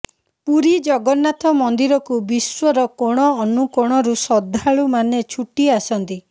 ପୁରୀ ଜଗନ୍ନାଥ ମନ୍ଦିରକୁ ବିଶ୍ୱର କୋଣ ଅନୁକୋଣରୁ ଶ୍ରଦ୍ଧାଳୁ ମାନେ ଛୁଟି ଆସନ୍ତି